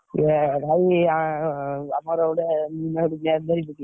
ଇଏ ଭାଇ ଆମର ଗୋଟେ ।